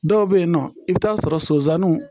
Dɔw bɛ yen nɔ i bɛ t'a sɔrɔ sonsanninw